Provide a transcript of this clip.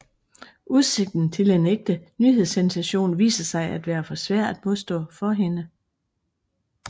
Udsigten til en ægte nyhedssensation viser sig at være for svær at modstå for hende